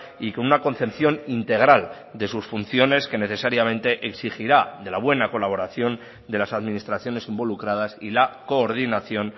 y con una concepción integral de sus funciones que necesariamente exigirá de la buena colaboración de las administraciones involucradas y la coordinación